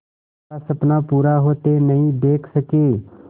का सपना पूरा होते नहीं देख सके